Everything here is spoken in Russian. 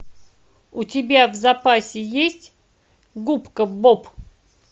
у тебя в запасе есть губка боб